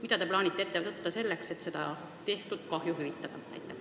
Mida te plaanite ette võtta, et tehtud kahju hüvitada?